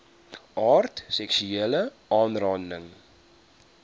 aard seksuele aanranding